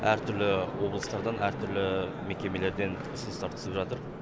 әртүрлі облыстардан әртүрлі мекемелерден ұсыныстар түсіп жатыр